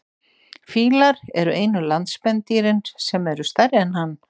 fílar eru einu landspendýrin sem eru stærri en hann